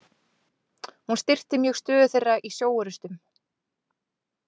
Hún styrkti mjög stöðu þeirra í sjóorrustum.